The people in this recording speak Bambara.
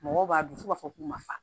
Mɔgɔw b'a dun fo k'a fɔ k'u ma fa